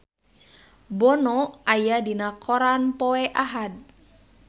Bono aya dina koran poe Ahad